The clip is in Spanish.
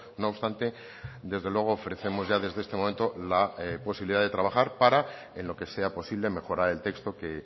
no obstante desde luego ofrecemos ya desde este momento la posibilidad de trabajar para en lo que sea posible mejorar el texto que